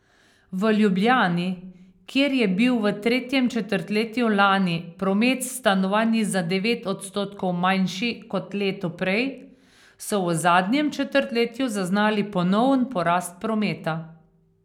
V Ljubljani, kjer je bil v tretjem četrtletju lani promet s stanovanji za devet odstotkov manjši kot leto prej, so v zadnjem četrtletju zaznali ponoven porast prometa.